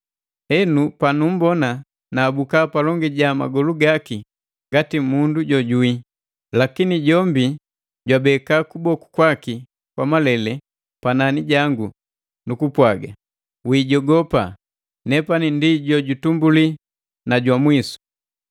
Henu panumbona naabuka palongi ja magolu gaki ngati mundu jojuwi. Lakini jombi jwabeka kuboku kwaki kwa malele panani jangu, nukupwaga, “Wiijogopa! Nepani ndi ju utumbuli na jwa mwisu.